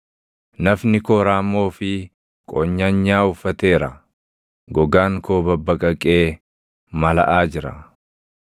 Nafni koo raammoo fi qonyanyaa uffateera; gogaan koo babbaqaqee malaʼaa jira.